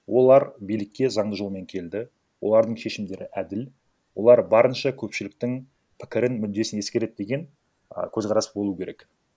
олар билікке заңды жолмен келді олардың шешімдері әділ олар барынша көпшіліктің пікірін мүддесін ескереді деген а көзқарасы болуы керек